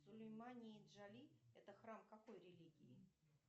сулейман и джоли это храм какой религии